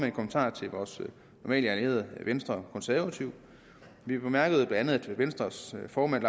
en kommentar til vores normale allierede venstre og konservative vi bemærkede bla at venstres formand